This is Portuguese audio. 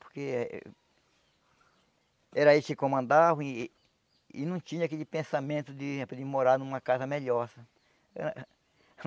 Porque eh era a gente que comandava e e não tinha aquele pensamento de morar numa casa melhor. Era